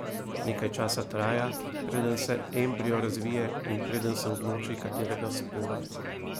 Nekaj časa traja, preden se embrio razvije in preden se odloči, katerega spola bo.